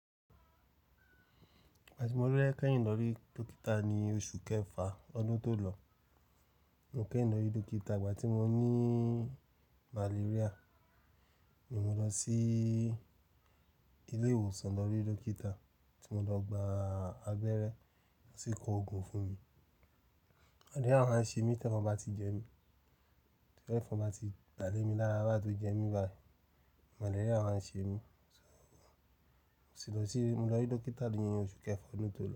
Ìgbà tí mo lọ rí kẹ́yìn lọ rí dókítà ni oṣù kẹfà ọdún tó lọ. Mo kẹ́yìn lọ rí dókítà ìgbà tí mo ní malaria. Mo lọ sí ilé ìwòsàn lọ rí dókítà tí mo lọ gba abẹ́rẹ́, ó sì kọ òògùn fún mi. Malaria máa ń ṣe mí t'ẹ̀fọn bá ti jẹ mí, t'ẹ̀fọn bá ti bà lémi lára báyìí tó jẹ mí báyìí, malaria máa ń ṣe mí. Àsìkò tí mo lọ rí dókítà ní oṣù kẹfà ọdún tó lọ.